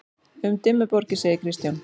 Um Dimmuborgir segir Kristján: